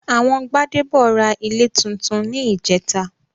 Àwọn Gbádébọ̀ ra ilé túntún ní ìjẹ́ta